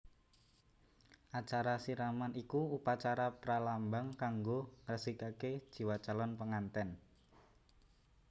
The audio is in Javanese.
Acara siraman iku upacara pralambang kanggo ngresikaké jiwa calon pengantèn